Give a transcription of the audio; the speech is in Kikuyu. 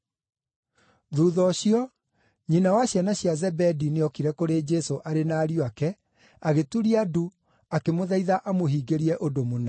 Thuutha ũcio, nyina wa ciana cia Zebedi nĩokire kũrĩ Jesũ arĩ na ariũ ake, agĩturia ndu, akĩmũthaitha amũhingĩrie ũndũ mũna.